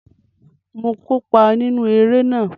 Mo kópa nínú eré náà